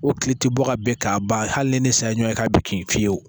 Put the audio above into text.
O tile ti bɔ ka bɛn k'a ban hali ni ne sa ye ɲɔgɔn ye k'a bɛ kin fiyewu